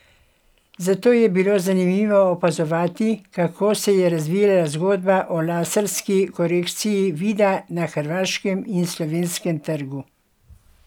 Zato je bilo zanimivo opazovati, kako se je razvijala zgodba o laserski korekciji vida na hrvaškem in slovenskem trgu.